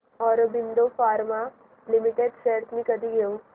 Aurobindo pharma limited shares मी कधी घेऊ